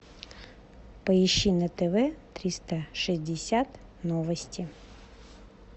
поищи на тв триста шестьдесят новости